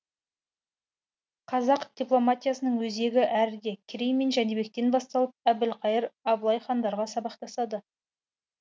қазақ дипломатиясының өзегі әріде керей мен жәнібектен басталып әбілқайыр абылай хандарға сабақтасады